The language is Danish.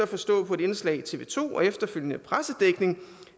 forstå på et indslag i tv to og efterfølgende pressedækning